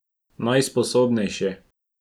Najsposobnejši.